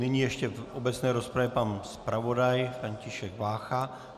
Nyní ještě v obecné rozpravě pan zpravodaj František Vácha.